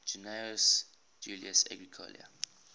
gnaeus julius agricola